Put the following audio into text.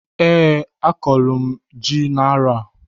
Eeǃ A kọlụ m ji n'arọ a.